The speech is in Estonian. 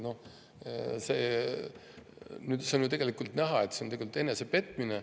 Noh, tegelikult on ju näha, et see on enesepetmine.